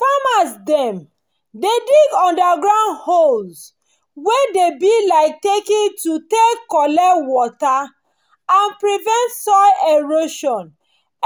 farmers dem dey dig underground holes wey dey be like takn to take collect water and prevent soil erosion